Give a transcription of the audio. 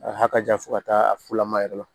A ka jan fo ka taa fulama yɛrɛ la